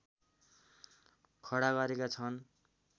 खडा गरेका छन्